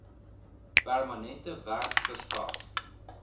permanente werk verskaf